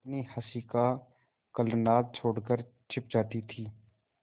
अपनी हँसी का कलनाद छोड़कर छिप जाती थीं